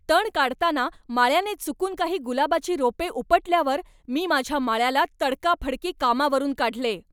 तण काढताना माळ्याने चुकून काही गुलाबाची रोपे उपटल्यावर मी माझ्या माळ्याला तडकाफडकी कामावरून काढले.